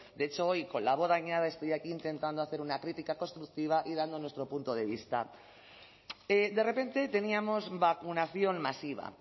de hecho hoy con la voz dañada estoy aquí intentando hacer una crítica constructiva y dando nuestro punto de vista de repente teníamos vacunación masiva